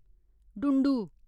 डुंडु